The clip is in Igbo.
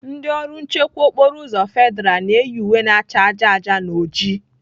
Ndị ọrụ nchekwa okporo uzọ federa na-eyi uwe na cha aja aja na ojii.